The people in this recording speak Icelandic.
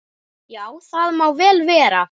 Já, það má vel vera.